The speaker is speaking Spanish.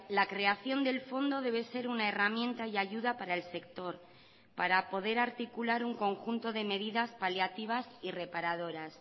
la creación del fondo debe ser una herramienta y ayuda para el sector para poder articular un conjunto de medidas paliativas y reparadoras